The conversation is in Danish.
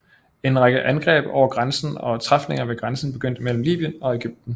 En række angreb over grænsen og træfninger ved grænsen begyndte mellem Libyen og Egypten